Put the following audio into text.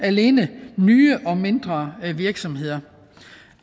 alene nye og mindre virksomheder